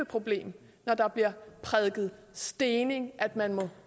problem når der bliver prædiket stening og at man må